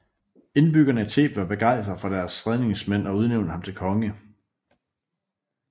Indbyggerne i Theben var begejstrede for deres redningsmand og udnævnte ham til konge